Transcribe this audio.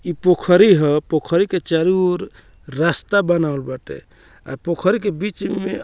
इ पोखरि ह पोखरि के चारो और रास्ता बनावल बाटे आ पोखरि के बिच में --